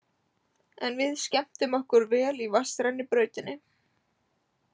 En við skemmtum okkur vel í vatnsrennibrautinni.